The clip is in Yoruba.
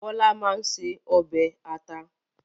Bọ́lá máa ń ṣe ọbẹ̀ ata